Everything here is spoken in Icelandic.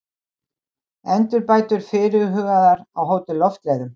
Endurbætur fyrirhugaðar á Hótel Loftleiðum